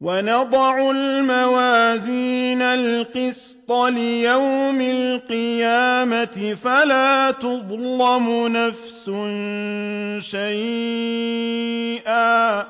وَنَضَعُ الْمَوَازِينَ الْقِسْطَ لِيَوْمِ الْقِيَامَةِ فَلَا تُظْلَمُ نَفْسٌ شَيْئًا ۖ